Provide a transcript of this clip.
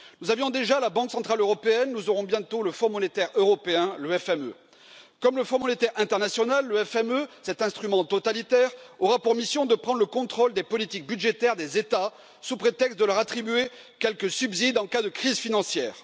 Nous avions déjà la Banque centrale européenne, nous aurons bientôt le Fonds monétaire européen, le FME. Comme le Fonds monétaire international, le FME, cet instrument totalitaire, aura pour mission de prendre le contrôle des politiques budgétaires des États sous prétexte de leur attribuer quelques subsides en cas de crise financière.